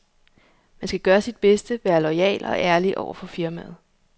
Man skal gøre sit bedste, være loyal og ærlig over for firmaet.